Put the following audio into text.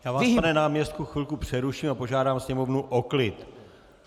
Já vás, pane náměstku, chvilku přeruším a požádám sněmovnu o klid.